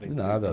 De nada.